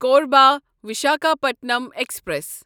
Korba Visakhapatnam express